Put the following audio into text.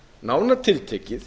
nánar tiltekið